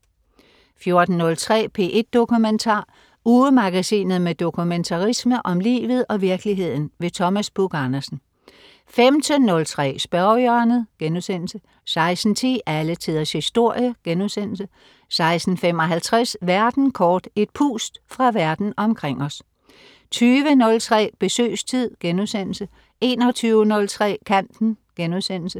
14.03 P1 Dokumentar. Ugemagasinet med dokumentarisme om livet og virkeligheden. Thomas Buch-Andersen 15.03 Spørgehjørnet* 16.10 Alle Tiders Historie* 16.55 Verden kort. Et pust fra verden omkring os 20.03 Besøgstid* 21.03 Kanten*